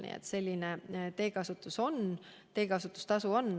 Nii et selline on see teekasutustasu.